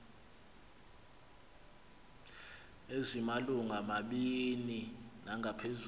ezimalungu mabini nangaphezulu